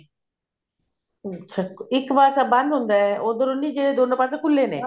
ਅੱਛਾ ਇੱਕ ਪਾਸਾ ਬੰਦ ਹੁੰਦਾ ਉੱਧਰੋਂ ਨੀ ਜਿਹੜੇ ਦੋਨੋ ਪਾਸੇ ਖੁੱਲੇ ਨੇ